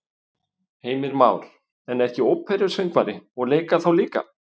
Heimir Már: En ekki óperusöngvari og leika þá líka?